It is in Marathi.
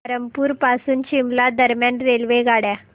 धरमपुर पासून शिमला दरम्यान रेल्वेगाड्या